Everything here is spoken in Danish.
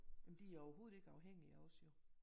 Men de er jo overhovedet ikke afhængige af os jo